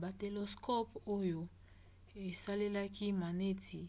batelescope oyo esalelaki maneti